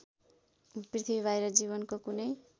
पृथ्वीबाहिर जीवनको कुनै